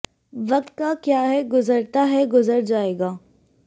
वक़्त का क्या है गुज़रता है गुज़र जाएगा